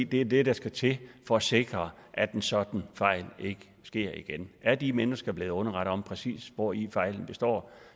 det er det der skal til for at sikre at en sådan fejl ikke sker igen er de mennesker blevet underrettet om præcis hvori fejlen består